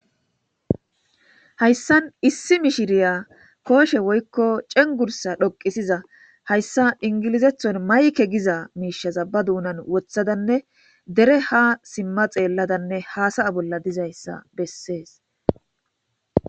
Hayssan issi mishiriya kooshe woykko cengurssa dhoqqisiza hayssa ingilizethon mayke giza miishshaza ba duunan woththadanne dere ha simma xeelladanne hasa'a bolla dizayssa bessees.